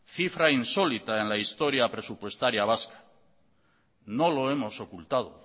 cifra insólita en la historia presupuestaria vasca no lo hemos ocultado